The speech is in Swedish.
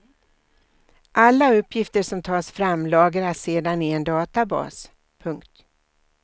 Alla uppgifter som tas fram lagras sedan i en databas. punkt